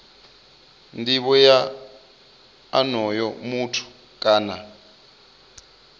nivho ya onoyo muthu kana